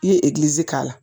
I ye k'a la